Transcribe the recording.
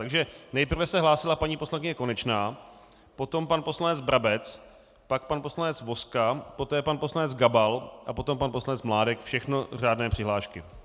Takže nejprve se hlásila paní poslankyně Konečná, potom pan poslanec Brabec, pak pan poslanec Vozka, poté pan poslanec Gabal a potom pan poslanec Mládek, všechno řádné přihlášky.